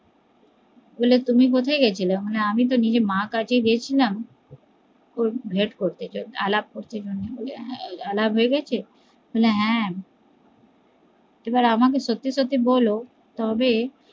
বলে তুমি কোথায় গেছিলে মানে আমি তো নিজের মার কাছে গেছিলাম ভেদ করতে আলাপ করতে আবার আমাকে সত্যি সত্যি বলো তবে